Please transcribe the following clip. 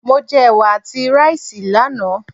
Mo jẹ Ẹ̀wà àti ráìsì lánàá.